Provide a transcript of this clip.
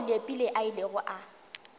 moo leepile a ilego a